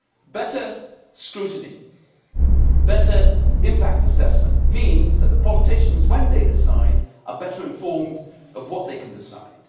Better scrutiny and better impact assessment means that the politicians, when they decide, are better informed about what they can decide.